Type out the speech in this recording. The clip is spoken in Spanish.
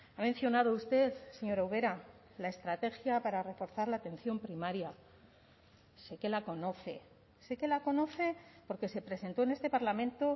ha mencionado usted señora ubera la estrategia para reforzar la atención primaria sé que la conoce sé que la conoce porque se presentó en este parlamento